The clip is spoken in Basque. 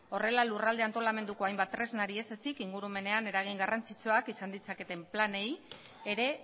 horrela lurralde antolamenduko hainbat tresnari ez ezezik ingurumenean eragin garrantzitsuak izan ditzaketen planei ere